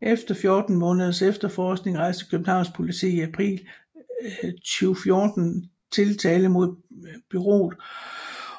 Efter 14 måneders efterforskning rejste Københavns Politi i april 2014 tiltale mod bureauet